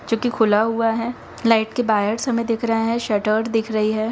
जोकी खुला हुआ है लाइट के वायर्स हमें दिख रहे हैं शटटर्ड दिख रही है।